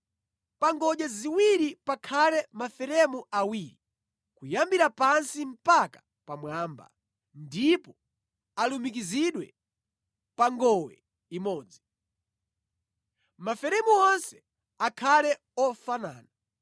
Pa ngodya ziwirizi pakhale maferemu awiri, kuyambira pansi mpaka pamwamba ndipo alumikizidwe pa ngowe imodzi. Maferemu onse akhale ofanana.